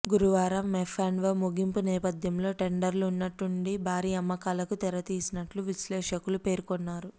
గురువారం ఎఫ్అండ్వో ముగింపు నేపథ్యంలో ట్రేడర్లు ఉన్నట్టుండి భారీ అమ్మకాలకు తెరతీసినట్లు విశ్లేషకులు పేర్కొన్నారు